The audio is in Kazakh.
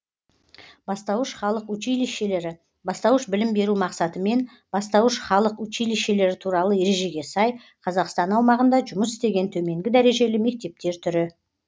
бастауыш халық училищелері бастауыш білім беру мақсатымен бастауыш халық училищелері туралы ережеге сай қазақстан аумағында жұмыс істеген төменгі дәрежелі мектептер түрі